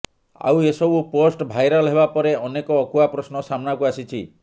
ଆଉ ଏସବୁ post viral ହେବା ପରେ ଅନେକ ଅକୁହା ପ୍ରଶ୍ନ ସାମ୍ନାକୁ ଆସିଛି